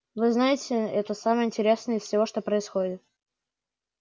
вы знаете это самое интересное из всего что происходит